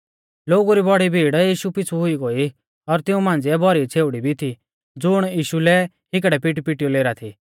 लोगु री बौड़ी भीड़ यीशु पिछ़ु हुई गोई और तिऊं मांझ़िऐ भौरी छ़ेउड़ी भी थी ज़ुण यीशु लै हिकड़ै पिटीपिटीयौ लेरा थी